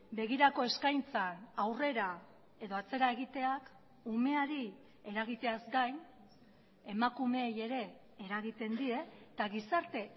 begirako eskaintzan aurrera edo atzera egiteak umeari eragiteaz gain emakumeei ere eragiten die eta gizarte